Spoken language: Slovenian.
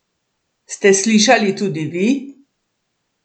Ste slišali tudi vi?